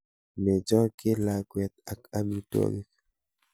Mechokchi lakwet ak amitwogik.